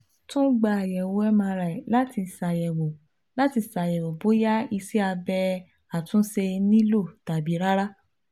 Tun gba ayẹwo MRI lati ṣayẹwo lati ṣayẹwo boya iṣẹ abẹ atunṣe nilo tabi rara